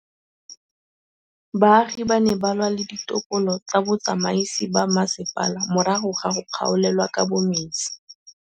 Baagi ba ne ba lwa le ditokolo tsa botsamaisi ba mmasepala morago ga go gaolelwa kabo metsi